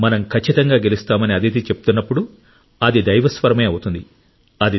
మనం ఖచ్చితంగా గెలుస్తామని అదితి చెబుతున్నప్పుడు అది దైవ స్వరమే అవుతుంది